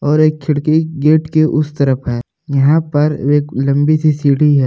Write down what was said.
और एक खिड़की गेट के उस तरफ़ है यहाँ पर एक लंबी सी सीढ़ी है।